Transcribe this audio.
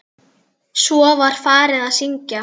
Svo var farið að syngja.